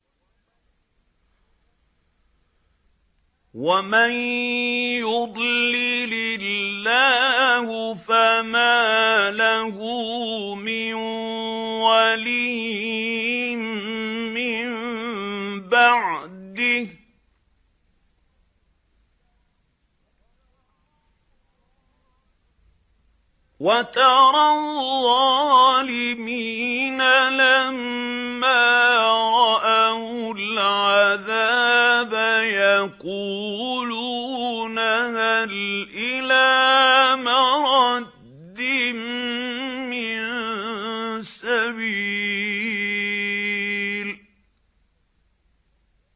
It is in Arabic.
وَمَن يُضْلِلِ اللَّهُ فَمَا لَهُ مِن وَلِيٍّ مِّن بَعْدِهِ ۗ وَتَرَى الظَّالِمِينَ لَمَّا رَأَوُا الْعَذَابَ يَقُولُونَ هَلْ إِلَىٰ مَرَدٍّ مِّن سَبِيلٍ